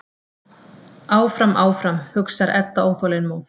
Áfram, áfram, hugsar Edda óþolinmóð.